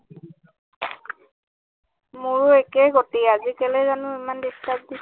মোৰো একেই গতি আজি কেলৈ জানো ইমান disturb দিছে